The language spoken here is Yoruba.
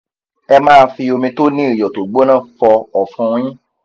ẹ máa fi omi to ni iyo tó gbóná fo ọ̀fun yin